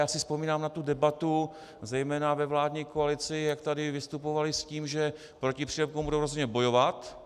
Já si vzpomínám na tu debatu zejména ve vládní koalici, jak tady vystupovali s tím, že proti přílepkům budou rozhodně bojovat.